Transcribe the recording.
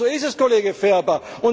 Genauso ist es, Kollege Ferber.